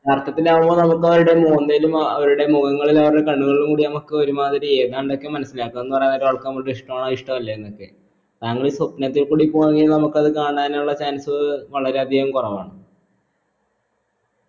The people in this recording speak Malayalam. അർത്ഥത്തിലാവുമ്പോ നമുക്ക് അവരുടെ മോന്തയിലും അവരുടെ മുഖങ്ങളിലും അവരുടെ കണ്ണുകളിലും കൂടി നമക്ക് ഒരുമാതിരി ഏതാണ്ടൊക്കെ മനസിലാക്കാംന്ന് പറയുന്ന ഒരാൾക്ക് നമ്മളത് ഇഷ്ടാണോ ഇഷ്ടയല്ലേന്നൊക്കെ. താങ്കൾ ഈ സ്വപ്നതത്തെ കൂടി പോവാൻ കീന നമുക്ക് അത് കാണാനുള്ള chance വളരെയധികം കുറവാണ്